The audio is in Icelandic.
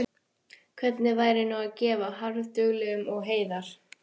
Hvernig væri nú að gefa harðduglegum og heiðar